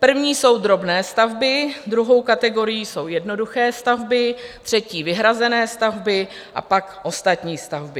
První jsou drobné stavby, druhou kategorií jsou jednoduché stavby, třetí vyhrazené stavby a pak ostatní stavby.